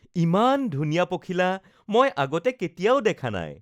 ইমান ধুনীয়া পখিলা মই আগতে কেতিয়াও দেখা নাই